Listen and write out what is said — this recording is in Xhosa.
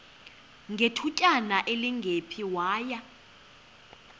ngethutyana elingephi waya